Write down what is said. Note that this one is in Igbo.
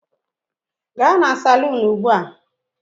Gaa na salun ugbu a!